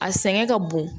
A sɛgɛn ka bon